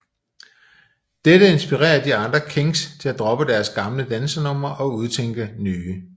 Dette inspirerer de andre Kings til at droppe deres gamle dansenumre og udtænke nye